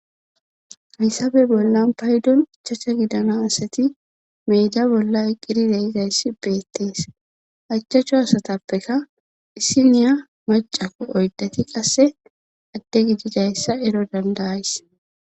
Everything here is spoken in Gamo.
haysabe bollan paydon ichacha gidana asati meeda bolla iqqirideizayssi beettees hachchachcho asatappeka disi niya macako oyddati qasse adde gididayssa ero dandayays